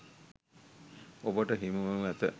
ඔබට හිමිවනු ඇත.